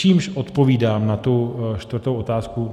Čímž odpovídám na tu čtvrtou otázku.